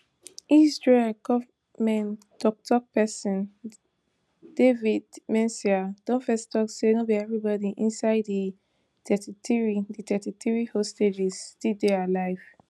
israeli gonment tok tok pesin david mencer don fist tok say no be everybody inside di thirty-three di thirty-three hostages still dey alive